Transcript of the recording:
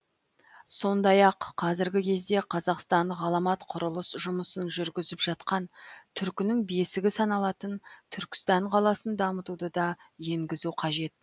сондай ақ қазіргі кезде қазақстан ғаламат құрылыс жұмысын жүргізіп жатқан түркінің бесігі саналатын түркістан қаласын дамытуды да енгізу қажет